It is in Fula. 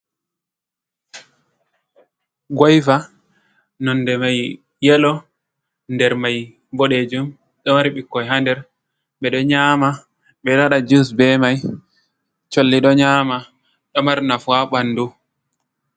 Goiva nonde mai yelo nder mai boɗejum, ɗo mari ɓikkoi hander, ɓeɗo nyama ɓeɗo waɗa jus be mai, colli ɗo nyama ɗo marnafu ha ɓandu.